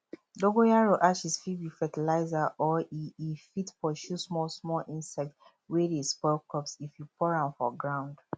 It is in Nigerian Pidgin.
dongoyaro ashes fit be fertilser or e e fit pursue small small insect wey dey spoil crops if you pour am for ground